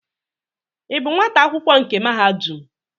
Ị bụ nwata akwụkwọ nke mahadum?